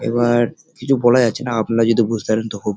এবার কিছু বলা যাচ্ছে নঃ আপনারা যদি কিছু বুঝতে পারেন তো খুব ।